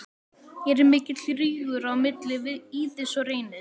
Er mikill rígur á milli Víðis og Reynis?